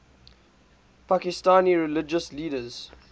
pakistani religious leaders